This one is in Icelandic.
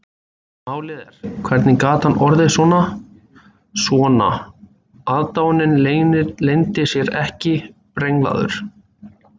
Málið er, hvernig gat hann orðið svona, svona,- aðdáunin leyndi sér ekki- brenglaður?